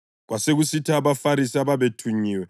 Kwasekusithi abaFarisi ababethunyiwe